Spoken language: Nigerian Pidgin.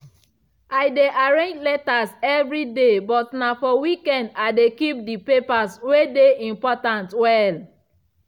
i dey arrange letters evri day but na for weekend i de keep de papers wey dey important well.